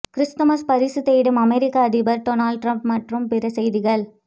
Christmas பரிசு தேடும் அமெரிக்க அதிபர் டொனால்டு டிரம்ப் மற்றும் பிற செய்திகள்